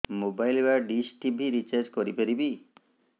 mobile ବା dish TV recharge କରି ପାରିବି